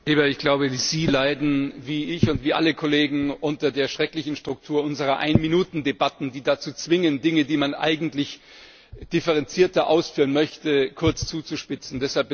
Lieber Kollege! Ich glaube, Sie leiden wie ich und alle Kollegen unter der schrecklichen Struktur unserer Ein Minuten Debatten, die dazu zwingen, Dinge, die man eigentlich differenzierter ausführen möchte, kurz zuzuspitzen.